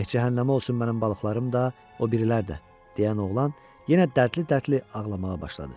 Eh, cəhənnəmə olsun mənim balıqlarım da, o birilər də, - deyən oğlan, yenə dərdli-dərdli ağlamağa başladı.